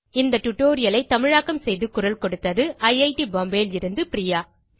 இந்த டியூட்டோரியல் ஐ தமிழாக்கம் செய்து குரல் கொடுத்தது ஐட் பாம்பே லிருந்து பிரியா